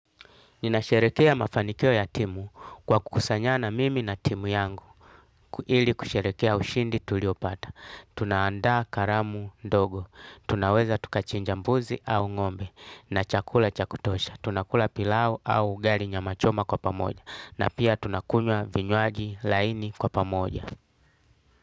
Ninasherehekea mafanikio ya timu kwa kukusanyana mimi na timu yangu ili kusherehekea ushindi tuliopata. Tunaandaa karamu ndogo, tunaweza tukachinja mbuzi au ng'ombe na chakula cha kutosha. Tunakula pilau au ugali nyamachoma kwa pamoja na pia tunakunywa vinywaji laini kwa pamoja.